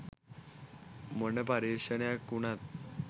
මොන පර්යේෂණයක් වුණත්